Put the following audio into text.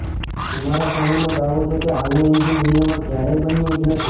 કુમારાસ્વામીનો દાવો છે કે આવું એન્જિન દુનિયામાં ક્યારેય બન્યું જ નથી